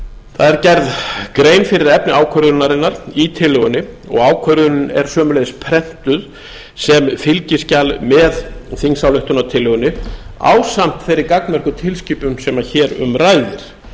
það er gerð grein fyrir efni ákvörðunarinnar í tillögunni og ákvörðunin er sömuleiðis prentuð sem fylgiskjal með þingsályktunartillögunni ásamt þeirri gagnmerku tilskipun sem hér um ræðir